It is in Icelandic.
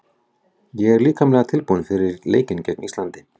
Ég er líkamlega tilbúinn fyrir leikinn gegn Íslandi.